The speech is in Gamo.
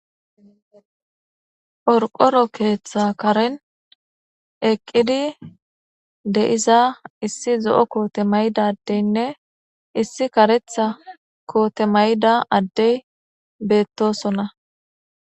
Qorqoro keeththa karen eqqidi de'iza issi zo'o koote maydadeynne issi karetha koote mayda addey beettosona.